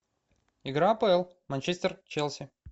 игра апл манчестер челси